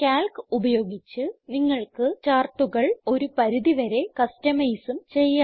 Calc ഉപയോഗിച്ച് നിങ്ങൾക്ക് chartsകൾ ഒരു പരിധി വരെ customizeഉം ചെയ്യാം